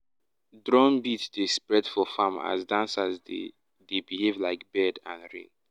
drum beat dey spread for farm as dancers dey dey behave like bird and rain.